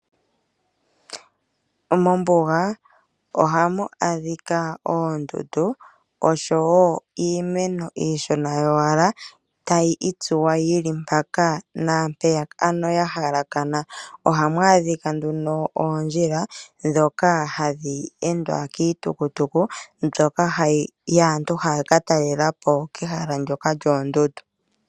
Mombuga ohamu adhika oondundu oshowo iimeno iishona tayi itsuwa mpaka naampeya ka ano ya hakala na. Ohamu adhika nduno oondjila ndhoka hadhi endwa kiitukutuku mbyoka yaantu haya ka talela po mehala ndyoka lyoondundu.